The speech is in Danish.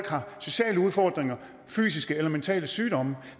sociale udfordringer fysiske eller mentale sygdomme